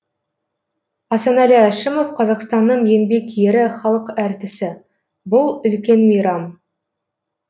асанәлі әшімов қазақстанның еңбек ері халық әртісі бұл үлкен мейрам